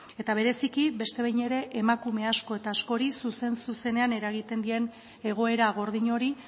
eta bereziki beste behin ere emakume asko eta askori zuzen zuzenean eragiten dien egoera gordin hori